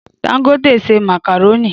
Dangote ṣe màkàrónì